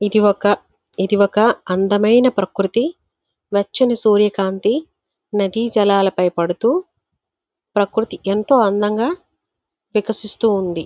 ఇది ఒక ఇది ఒక అందమైన ప్రకృతి వెచ్చని సూర్యకాంతి నదీ జలాలపై పడుతూ ప్రకృతి ఎంతో అందంగా వికసిస్తుంది.